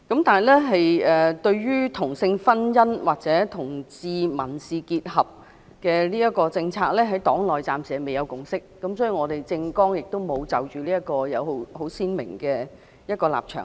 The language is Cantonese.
但是，對於同性婚姻或同志民事結合的政策，在黨內暫時未有共識，因此，我們的政綱亦沒有就這方面有很鮮明的立場。